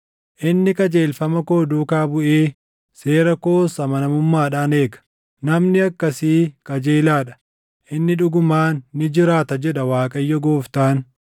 Inni qajeelfama koo duukaa buʼee seera koos amanamummaadhaan eega. Namni akkasii qajeelaa dha; inni dhugumaan ni jiraata, jedha Waaqayyo Gooftaan.